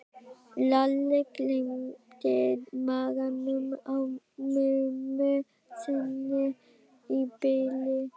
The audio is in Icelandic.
Lalli gleymdi maganum á mömmu sinni í bili.